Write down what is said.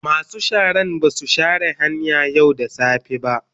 Masu sharan ba su share hanyan yau da safe ba.